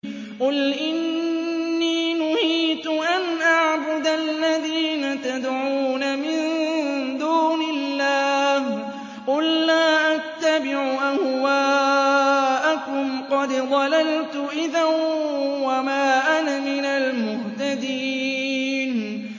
قُلْ إِنِّي نُهِيتُ أَنْ أَعْبُدَ الَّذِينَ تَدْعُونَ مِن دُونِ اللَّهِ ۚ قُل لَّا أَتَّبِعُ أَهْوَاءَكُمْ ۙ قَدْ ضَلَلْتُ إِذًا وَمَا أَنَا مِنَ الْمُهْتَدِينَ